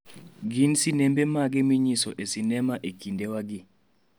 Gin sinembe mage minyiso e sinema e kindewagi?